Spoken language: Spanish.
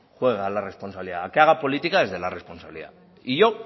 juegue a la responsabilidad a que haga política desde la responsabilidad y yo